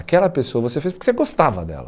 Aquela pessoa você fez porque você gostava dela.